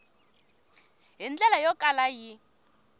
hi ndlela yo kala yi